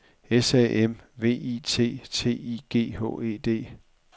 S A M V I T T I G H E D